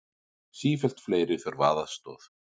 Sífellt fleiri þurfa aðstoð